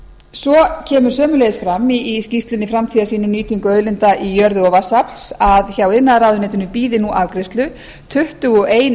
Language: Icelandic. svo kemur sömuleiðis fram í skýrslunni framtíðarsýn um nýtingu auðlinda í jörðu og vatnsafls að hjá iðnaðarráðuneytinu bíði nú afgreiðslu tuttugu og ein umsókn